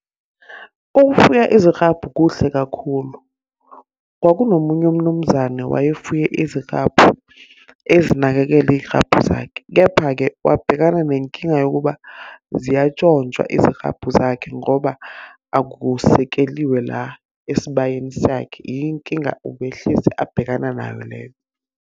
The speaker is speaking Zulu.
Ukufuya iziklabhu kuhle kakhulu. Kwakunomunye umnumzane wayefune iziklabhu, ezinakekela iy'klabhu zakhe. Kepha-ke wabhekana nenkinga yokuba ziyantshontshwa iziklabhu zakhe, ngoba akusekeliwe la esibayeni sakhe. Inkinga ubehlezi abhekana nayo leyo.